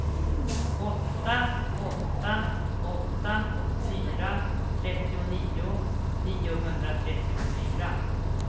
åtta åtta åtta fyra trettionio niohundratrettiofyra